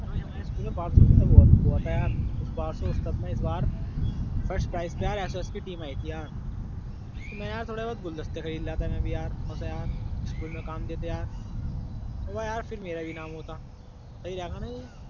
और हमारे यहाँ स्कूल में बाल उत्सव हुआ था यार। इस बाल उत्सव में इस बार फर्स्ट प्राइज पे एस एस की टीम आई थी यार। मैं यार थोड़े बहुत गुलदस्ते खरीद लता यार मैं भी यार वहाँ से यार। स्कूल में काम कर देते यार हां का यार फिर मेरा भी नाम होता सही रहेगा न ये।